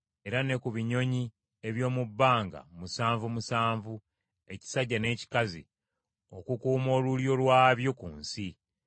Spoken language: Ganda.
era ne ku binyonyi eby’omu bbanga musanvu musanvu ekisajja n’ekikazi, okukuuma olulyo lwabyo ku nsi.